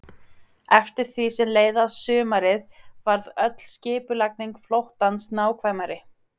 Eftir því sem leið á sumarið varð öll skipulagning flóttans nákvæmari.